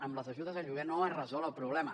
amb les ajudes al lloguer no es resol el problema